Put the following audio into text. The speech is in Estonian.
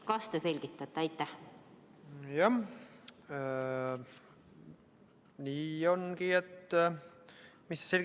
Kas te selgitate?